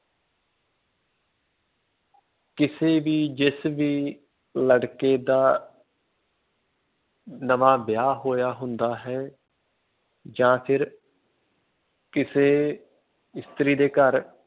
ਕਿਸੇ ਵੀ ਜਿਸ ਵੀ ਲੜਕੇ ਦਾ ਨਵਾਂ ਵਿਆਹ ਹੋਇਆ ਹੁੰਦਾ ਹੈ ਜਾਂ ਫਿਰ ਕਿਸੇ ਇਸਤਰੀ ਦੇ ਘਰ